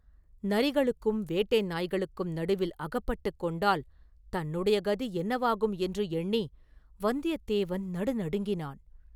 நரிகளுக்கும் வேட்டை நாய்களுக்கும் நடுவில் அகப்பட்டுக் கொண்டால் தன்னுடைய கதி என்னவாகும் என்று எண்ணி வந்தியத்தேவன் நடுநடுங்கினான்.